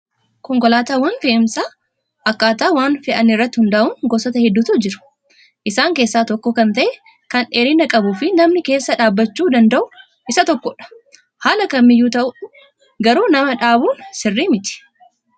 Konkolaataawwan fe'iisaa akkaataa waan fe'anii irratti hundaa'uun gosoota hedduutu jiru. Isaan keessaa tokko kan ta'e kan dheerina qabuu fi namni keessa dhaabbachuu danda'u isa tokkodha. Haala kamiyyuu ta'u garuu nama dhaabuun sirrii miti.